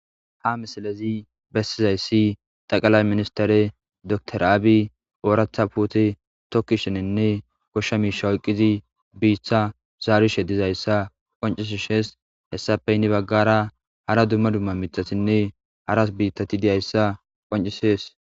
ha misalezi bessizayssi xaqalay ministare dr aabi ooratha puti tokkishenenne goshsha miisha woyqqizi biiththa zaari she dizayssa qoncisi shees hessafe inni baggara hara dumma dumma mitasinne haras biitati diyayssa qoncisees